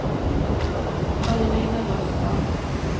Karoline Røstad